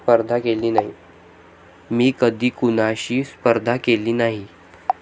मी कधी कुणाशी स्पर्धा केली नाही.